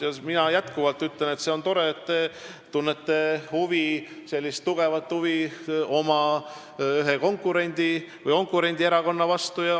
Ja ma ütlen jätkuvalt, et see on tore, et te ühe oma konkurendierakonna vastu suurt huvi tunnete.